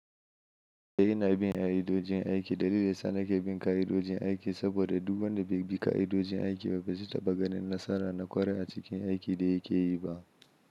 Eh ina bin ƙa'idojin aiki. Dalilin dayasa nake bin ƙa'idojin aiki saboda duk wanda bai bi ƙa'idojin aiki ba, ba zai taba ganin nasara na ƙwarai a cikin aikin da yake yi ba.